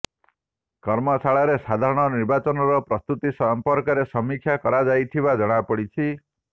କର୍ମଶାଳାରେ ସାଧାରଣ ନିର୍ବାଚନର ପ୍ରସ୍ତୁତି ସମ୍ପର୍କରେ ସମୀକ୍ଷା କରାଯାଇଥିବା ଜଣାପଡ଼ିଛି